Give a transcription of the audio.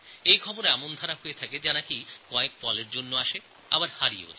এই সমস্ত সংবাদগুলো কয়েক মুহূর্তের জন্য আসে আবার চলেও যায়